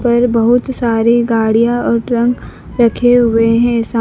पर बहुत सारी गाड़ियाँ और ट्रंक रखे हुए है साम- -